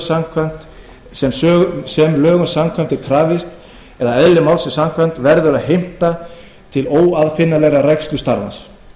sérmenntun sem lögum samkvæmt er krafist eða eðli málsins samkvæmt verður að heimta til óaðfinnanlegrar rækslu starfans